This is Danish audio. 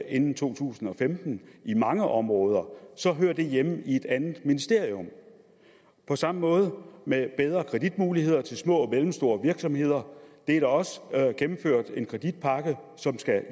inden to tusind og femten i mange områder så hører det hjemme i et andet ministerium på samme måde er det med bedre kreditmuligheder til små og mellemstore virksomheder der er også gennemført en kreditpakke som skal